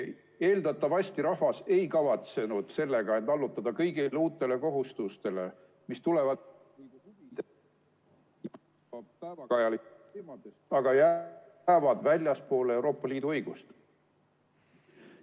Eeldatavasti rahvas ei kavatsenud sellega end allutada kõigile uutele kohustustele, mis tulevad ...... aga jäävad väljapoole Euroopa Liidu õigust.